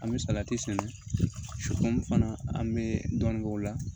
An bɛ salati sɛnɛ fana an bɛ dɔɔnin k'o la